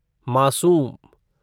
मासूम